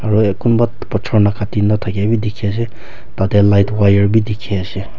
aro akunba bujor nakatina takia be teki ase aro light wire beh teki ase.